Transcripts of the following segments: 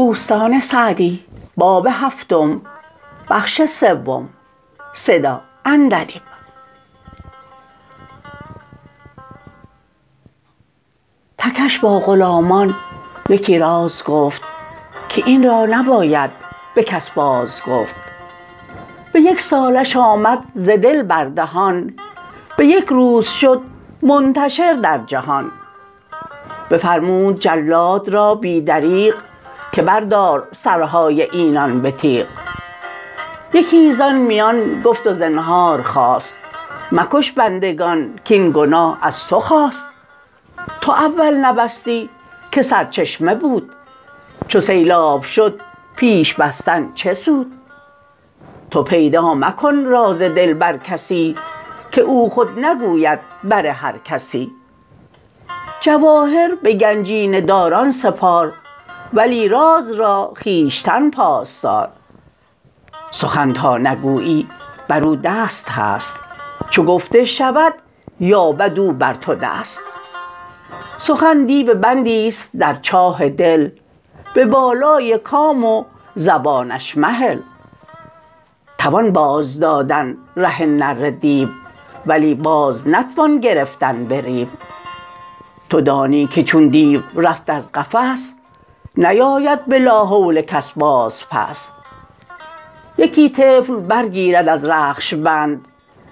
تکش با غلامان یکی راز گفت که این را نباید به کس باز گفت به یک سالش آمد ز دل بر دهان به یک روز شد منتشر در جهان بفرمود جلاد را بی دریغ که بردار سرهای اینان به تیغ یکی زآن میان گفت و زنهار خواست مکش بندگان کاین گناه از تو خاست تو اول نبستی که سرچشمه بود چو سیلاب شد پیش بستن چه سود تو پیدا مکن راز دل بر کسی که او خود نگوید بر هر کسی جواهر به گنجینه داران سپار ولی راز را خویشتن پاس دار سخن تا نگویی بر او دست هست چو گفته شود یابد او بر تو دست سخن دیو بندی است در چاه دل به بالای کام و زبانش مهل توان باز دادن ره نره دیو ولی باز نتوان گرفتن به ریو تو دانی که چون دیو رفت از قفس نیاید به لا حول کس باز پس یکی طفل بر گیرد از رخش بند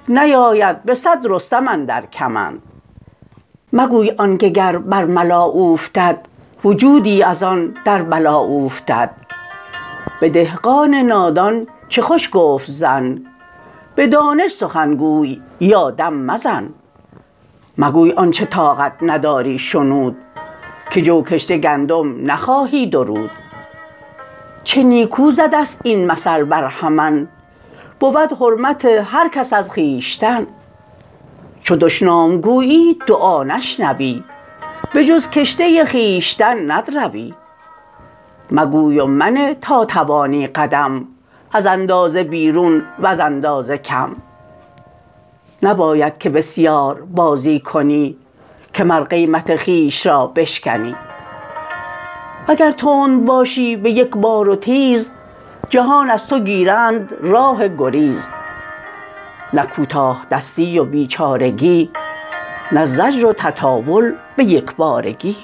نیاید به صد رستم اندر کمند مگوی آن که گر بر ملا اوفتد وجودی از آن در بلا اوفتد به دهقان نادان چه خوش گفت زن به دانش سخن گوی یا دم مزن مگوی آنچه طاقت نداری شنود که جو کشته گندم نخواهی درود چه نیکو زده ست این مثل برهمن بود حرمت هر کس از خویشتن چو دشنام گویی دعا نشنوی به جز کشته خویشتن ندروی مگوی و منه تا توانی قدم از اندازه بیرون وز اندازه کم نباید که بسیار بازی کنی که مر قیمت خویش را بشکنی وگر تند باشی به یک بار و تیز جهان از تو گیرند راه گریز نه کوتاه دستی و بیچارگی نه زجر و تطاول به یک بارگی